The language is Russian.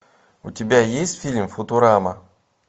у тебя есть фильм футурама